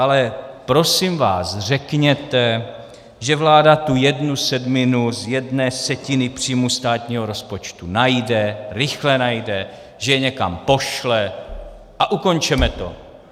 Ale prosím vás řekněte, že vláda tu jednu sedminu z jedné setiny příjmu státního rozpočtu najde, rychle najde, že je někam pošle, a ukončeme to.